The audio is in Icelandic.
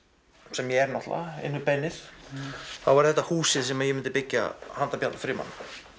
sem ég er náttúrulega inn við beinið þá væri þetta húsið sem ég myndi byggja handa Bjarna Frímanni